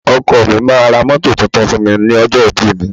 Ọkọ mi máa ra mọ́tò tuntun fún mi ní ọjọ́ ìbí mi.